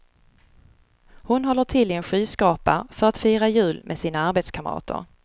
Hon håller till i en skyskrapa för att fira jul med sina arbetskamrater.